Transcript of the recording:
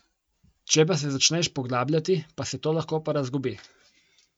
Če pa se začneš poglabljati, pa se to lahko porazgubi.